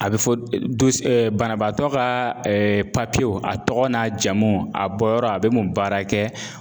A bɛ fɔ banabaatɔ ka papiyew a tɔgɔ n'a jamu a bɔyɔrɔ a bɛ mun baara kɛ